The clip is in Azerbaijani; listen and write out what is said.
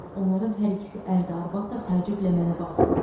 Onların hər ikisi ər-arvad da təəccüblə mənə baxdılar.